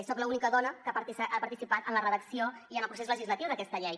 soc l’única dona que ha participat en la redacció i en el procés legislatiu d’aquesta llei